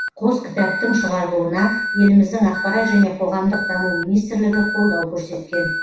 қос кітаптың шығарылуына еліміздің ақпарат және қоғамдық даму министрлігі қолдау көрсеткен